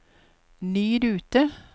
ny rute